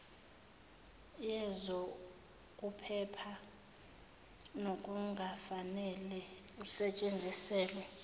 yezokuphepha nokungafanele usetshenziselwe